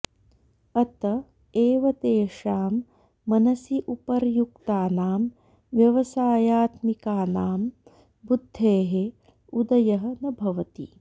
अत एव तेषां मनसि उपर्युक्तानां व्यवसायात्मिकानां बुद्धेः उदयः न भवति